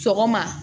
Sɔgɔma